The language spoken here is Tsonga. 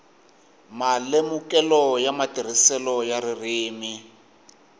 malemukelo ya matirhiselo ya ririmi